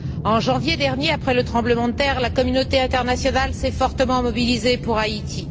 En janvier dernier, après le tremblement de terre, la communauté internationale s'est fortement mobilisée pour Haïti.